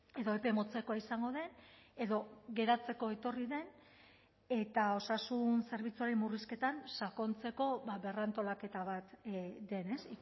edo epe motzekoa izango den edo geratzeko etorri den eta osasun zerbitzuaren murrizketan sakontzeko berrantolaketa bat den ez